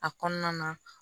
A kɔnɔna na